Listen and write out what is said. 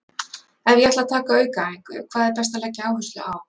Ef ég ætla að taka aukaæfingu, hvað er best að leggja áherslu á?